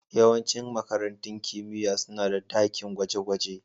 Yawancin makarantun kimiyya suna da dakin gwaje-gwaje